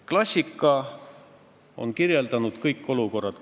Klassikas on kõik olukorrad juba ära kirjeldatud.